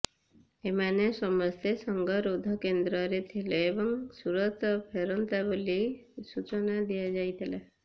ଏମାନେ ସମସ୍ତେ ସଙ୍ଗରୋଧ କେନ୍ଦ୍ରରେ ଥିଲେ ଏବଂ ସୁରତ ଫେରନ୍ତା ବୋଲି ସୂଚନା ଦିଆଯାଇଥିଲା